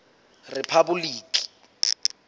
rephaboliki